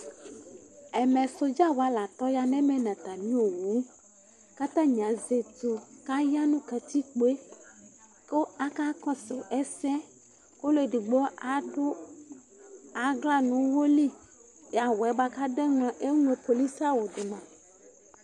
Ɛmɛ, soɖza wa la tɔ ya nu ɛmɛ nu atami owu Ku atani azɛ ɛtu Ku aya nu katikpo yɛ Ku aka kɔsu ɛsɛ Ku ɔlu eɖigbo aɖu aɣla nu uwɔ li Awu yɛ buaku aɖu yɛ mua, eŋlo polisi awu ɖu ma